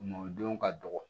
Mɔdenw ka dɔgɔ